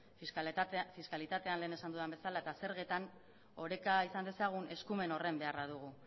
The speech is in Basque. fiskalitatean lehen esan dudan bezala eta zergetan oreka izan dezagun eskumen horren beharra dugu